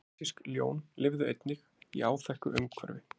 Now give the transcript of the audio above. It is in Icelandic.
Asísk ljón lifðu einnig í áþekku umhverfi.